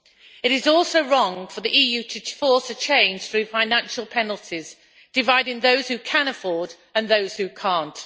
It is also wrong for the EU to force a change through financial penalties, dividing those who can afford and those who cannot.